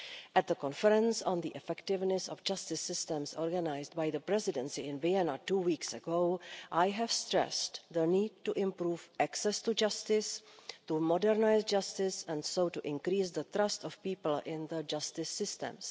At the conference on the effectiveness of justice systems organised by the Presidency in Vienna two weeks ago, I stressed the need to improve access to justice, to modernise justice and thus to increase the trust of people in the justice systems.